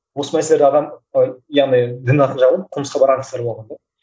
осы мәселені адам ы яғни дін арқылы